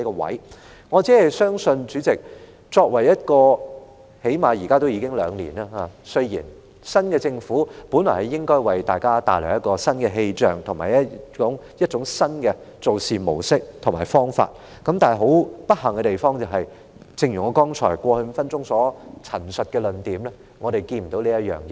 現屆政府至今已上任兩年了，新政府本來應為大家帶來新氣象，以及新的做事模式和方法，但很不幸的地方，正如我過去5分鐘所陳述的論點，是我們看不到有這種情況出現。